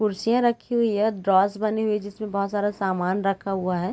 कुर्सीयाँ रखी हुई हैं ड्रॉस बने हुए हैं जिसमें बहुत सारा सामन रखा हुआ है।